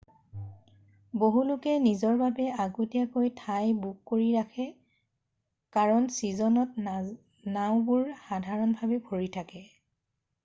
বহু লোকে নিজৰ বাবে আগতীয়াকৈ ঠাই বুক কৰি ৰাখে কাৰণ ছীজনত নাওঁবোৰ সাধৰণতে ভৰি থাকে।